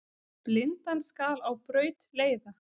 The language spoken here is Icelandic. Blindan skal á braut leiða.